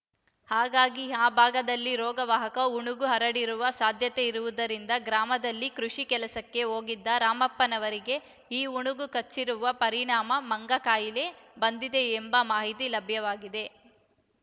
ಹಾಗಾಗಿ ಆ ಭಾಗದಲ್ಲಿ ರೋಗವಾಹಕ ಉಣುಗು ಹರಡಿರುವ ಸಾಧ್ಯತೆಯಿರುವುದರಿಂದ ಗ್ರಾಮದಲ್ಲಿ ಕೃಷಿ ಕೆಲಸಕ್ಕೆ ಹೋಗಿದ್ದ ರಾಮಪ್ಪನವರಿಗೆ ಈ ಉಣುಗು ಕಚ್ಚಿರುವ ಪರಿಣಾಮ ಮಂಗಕಾಯಿಲೆ ಬಂದಿದೆ ಎಂಬ ಮಾಹಿತಿ ಲಭ್ಯವಾಗಿದೆ